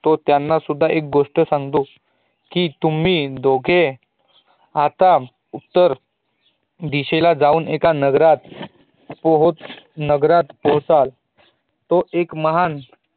तो त्यांना सुद्धा एक गोष्ट सागतो, कि तुम्ही दोघे आता उत्तर दिशेला जाऊन एका नगरात जाऊन एका नगरात पोहचाल तो एक महान